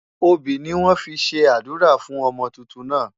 Obì ni wọ́n fi ṣe àdúrà fún ọmọ tuntun náà.